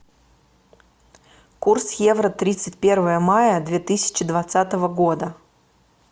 курс евро тридцать первое мая две тысячи двадцатого года